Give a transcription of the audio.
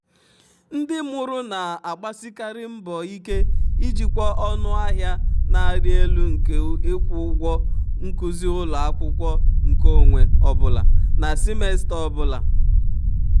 ndị mụrụ na-agbasikarị mbọ ike ijikwa ọnụ ahịa na-arị elu nke ịkwụ ụgwọ nkuzi ụlọ akwụkwọ nkeonwe ọ bụla na simesta ọ bụla.